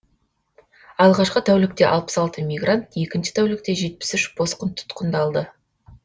алғашқы тәулікте алпыс алты мигрант екінші тәулікте жетпіс үш босқын тұтқындалды